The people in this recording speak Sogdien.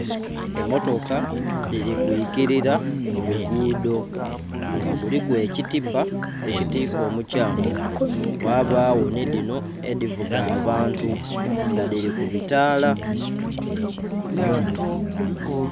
Emmotoka dhiri kwiikirira mulugudo nga kuliku ekitipa ekitika omukyanga ghabagho nidhino edhivuga abantu nga dhiri kubitala.